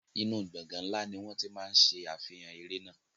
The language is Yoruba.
Inú gbọ̀ngàn ńlá ni wọ́n ti máa ń ṣe àfihàn eré náà.